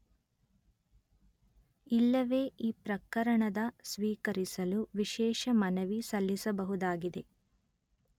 ಇಲ್ಲವೆ ಈ ಪ್ರಕರಣದ ಸ್ವೀಕರಿಸಲು ವಿಶೇಷ ಮನವಿ ಸಲ್ಲಿಸಬಹುದಾಗಿದೆ